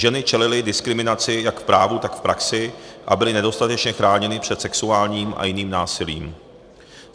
Ženy čelily diskriminaci jak v právu, tak v praxi a byly nedostatečně chráněny před sexuálním a jiným násilím.